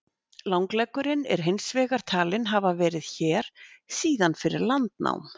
Langleggurinn er hins vegar talinn hafa verið hér síðan fyrir landnám.